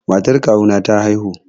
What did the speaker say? Matar kawu na ta haihu